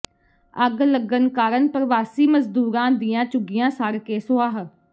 ਅੱਗ ਲੱਗਣ ਕਾਰਨ ਪਰਵਾਸੀ ਮਜ਼ਦੂਰਾਂ ਦੀਆਂ ਝੁੱਗੀਆਂ ਸੜ ਕੇ ਸੁਆਹ